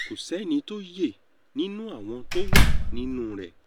kò sẹ́ni tó yẹ nínú àwọn tó wà nínú rẹ̀